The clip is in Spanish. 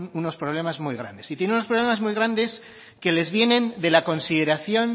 unos problemas muy grandes y tienen unos problemas muy grandes que les vienen de la consideración